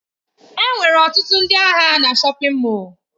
Enwere ọtụtụ ndị ahịa na shọpin Mọll.